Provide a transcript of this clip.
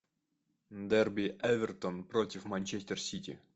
дерби эвертон против манчестер сити